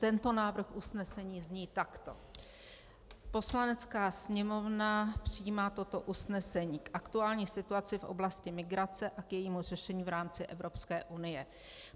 Tento návrh usnesení zní takto: Poslanecká sněmovna přijímá toto usnesení k aktuální situaci v oblasti migrace a k jejímu řešení v rámci Evropské unie.